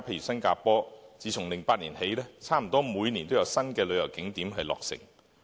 新加坡自2008年起，差不多每年都有新的旅遊景點落成。